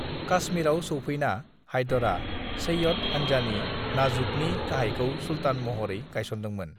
"काश्मीराव सौफैना, हैदरा सैय्यद हानजानि, नाज़ुकनि गाहायखौ सुल्तान महरै गायसनदोंमोन।"